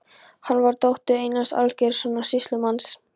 Hún var dóttir Einars Aðalgeirssonar sýslumanns.